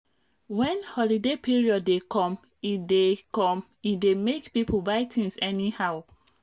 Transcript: product wey dem make for nigeria dey cheap and make sense pass some wey dem bring come from outside.